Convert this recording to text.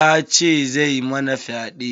Ya ce zai mana fyaɗe.